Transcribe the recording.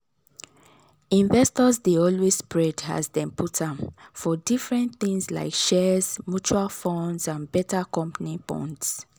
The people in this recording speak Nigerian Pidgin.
investors dey always spread as dem put am for different things like shares mutual funds and better company bonds.